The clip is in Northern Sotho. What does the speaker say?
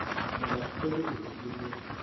tabakgolo e be e le